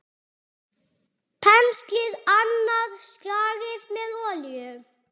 Penslið annað slagið með olíu.